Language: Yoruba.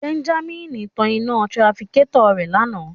Benjamin ta ina tirafikatọ rẹ lana